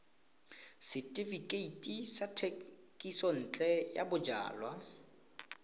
setefikeiti sa thekisontle ya bojalwa